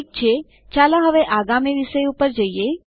ઠીક છે ચાલો હવે આગામી વિષય પર જઈએ